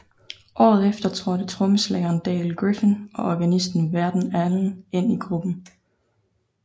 Året efter trådte trommeslageren Dale Griffin og organisten Verden Allen ind i gruppen